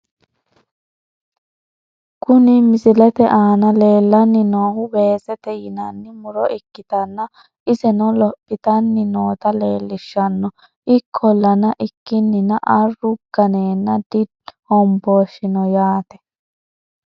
Kuni misilete aana lellanni noohu weesete yinanni muro ikkitanna, iseno lophitanni noota leellishshanno. ikkolla ikkinina arru ganeenna di hombooshshino yaate.